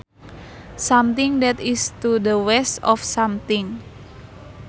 Something that is to the west of something